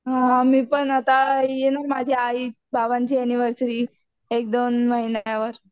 हां मी पण आता येणार माझी आई बाबांची एनिवर्सरी एक दोन महिन्यावर